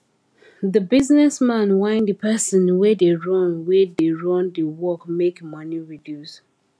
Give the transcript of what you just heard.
the business man whine the person wey da run wey da run d work make money reduce